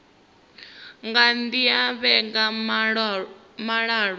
nga dzhia vhege dza malo